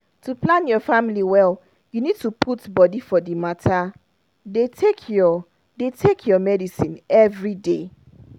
to plan your family well you need to put body for the matter. dey take your dey take your medicines everyday.